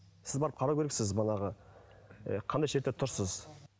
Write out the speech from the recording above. сіз барып қарау керексіз манағы ы қандай тұрсыз